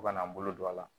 Fo kana n bolo don a la